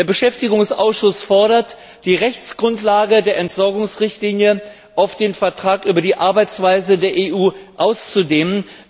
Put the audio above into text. Der Beschäftigungsausschuss fordert, die Rechtsgrundlage der Entsorgungsrichtlinie auf den Vertrag über die Arbeitsweise der EU auszudehnen.